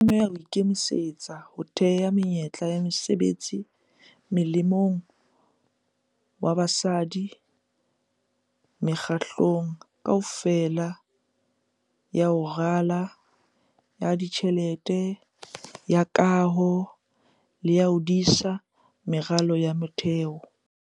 E tlameha ho ikemisetsa ho theha menyetla ya mesebetsi molemong wa basadi mekga-hlelong kaofela ya ho rala, ya ditjhelete, ya kaho le ya ho disa meralo ya motheo.